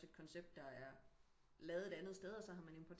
Et koncept der er lavet et andet sted og så har man